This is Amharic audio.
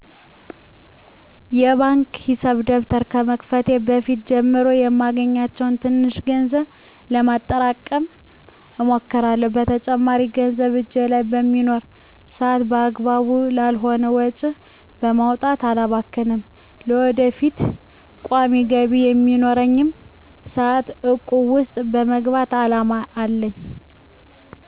የባንክ ሂሳብ ደብተር በመክፈት ከበፊት ጀምሮ የማገኘውን ትንሽ ገንዘብ ለማጠራቀም እሞክራለሁ። በተጨማሪም ገንዘብ እጄ ላይ በሚኖር ሰአት አግባብ ላልሆኑ ወጪዎች በማውጣት አላባክንም። ለወደፊቱ ቋሚ ገቢ በሚኖረኝም ሰአት እቁብ ውስጥ የመግባት አላማ አለኝ።